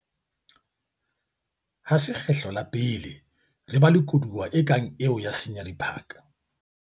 Ha se kgetlo la pele re ba le koduwa e kang eo ya Scenery Park.